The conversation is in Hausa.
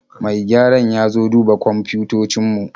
Mai gyaran ya zo duba kwamfutocin mu